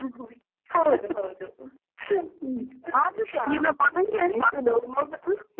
ಹೌದು ಹೌದು ಆದ್ರುಸ ಹಾ ಹೇಳಿ.